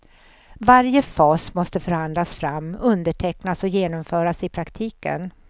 Varje fas måste förhandlas fram, undertecknas och genomföras i praktiken.